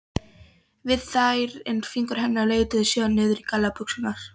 við þær en fingur hennar leituðu síðan niður að gallabuxunum.